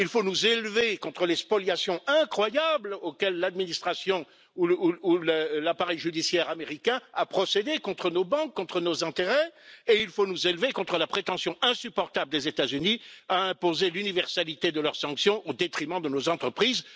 Il faut nous élever contre les spoliations incroyables auxquelles l'administration ou l'appareil judiciaire américains ont procédés contre nos banques, contre nos intérêts, et il faut nous élever contre la prétention insupportable des États Unis à imposer l'universalité de leurs sanctions au détriment de nos entreprises.